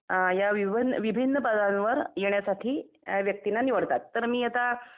या विभन्न विभिन्न पदांवर येण्यासाठी व्यक्तींना निवडतात तर मी आता